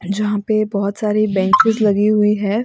जहां पे बहोत सारी बेंचिस लगी हुई है।